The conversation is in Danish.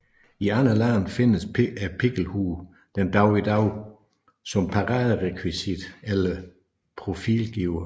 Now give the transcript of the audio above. I andre lande findes pikkelhuen den dag i dag som paraderekvisit eller profilgiver